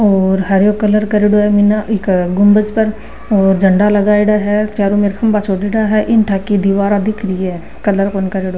और हरयो कलर करेडो है ईको गुंबज पर और झंडा लगाई डा है चारो में खम्भा छोड़े ला है इटा की दीवारा दिख री है कलर कौण करयेडो।